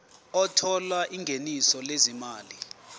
othola ingeniso lezimali